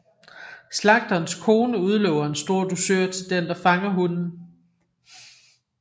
Slagterens kone udlover en stor dusør til den der fanger hunden